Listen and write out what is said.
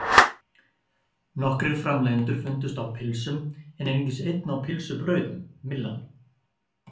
Nokkrir framleiðendur fundust á pylsum en einungis einn á pylsubrauðum, Myllan.